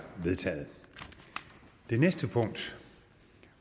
det